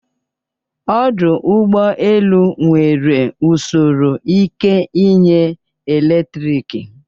Ọdụ ụgbọ elu nwere usoro ike inye eletrik